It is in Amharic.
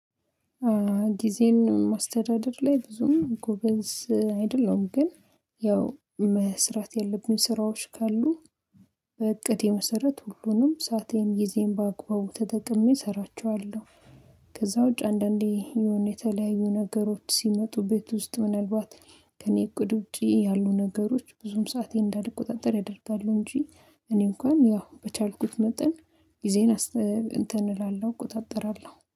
ጊዜን ማስተዳደር ላይ ብዙም ጎበዝ አይደለውም። ግን ያው መስራት ያለብኝ ስራዎች ካሉ በእቅድ የመሰረት ሁሉንም ሰአቴን ጊዜን በአግባቡ ተጠቅሜ እሰራቸዋለሁ። ከዛ ውጭ አንዳንዴ የሆነ የተለያዩ ነገሮች ሲመጡ፤ ቤት ውስጥ ምናልባት ከእኔ እቅድ ውጪ ያሉ ነገሮች ብዙም ሰአቴን እንዳድቅ ቁጥጥር ያደርጋሉ። እንጂ እኔ እንኳን ያው በቻልኩት መጠን ጊዜን አስብ እንትን እላለሁ እቆጣጠራለሁ።